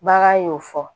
Bagan y'o fɔ